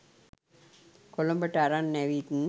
කොළඹට අරන් ඇවිත්